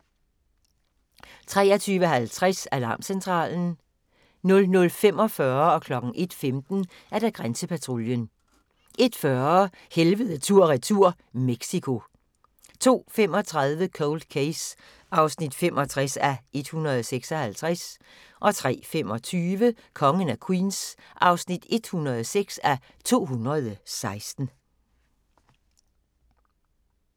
23:50: Alarmcentralen 00:45: Grænsepatruljen 01:15: Grænsepatruljen 01:40: Helvede tur/retur - Mexico 02:35: Cold Case (65:156) 03:25: Kongen af Queens (106:216)